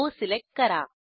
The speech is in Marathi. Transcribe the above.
ओ सिलेक्ट करा